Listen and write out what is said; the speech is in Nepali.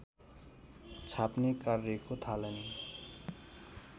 छाप्ने कार्यको थालनीको